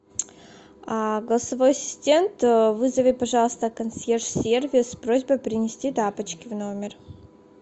а голосовой ассистент вызови пожалуйста консьерж сервис с просьбой принести тапочки в номер